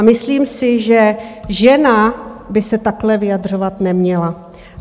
A myslím si, že žena by se takhle vyjadřovat neměla.